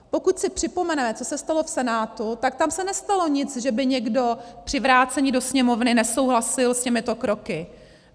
Pokud si připomeneme, co se stalo v Senátu, tak tam se nestalo nic, že by někdo při vrácení do Sněmovny nesouhlasil s těmito kroky.